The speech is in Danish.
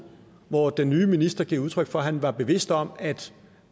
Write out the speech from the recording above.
hvor den nye minister gav udtryk for at han var bevidst om at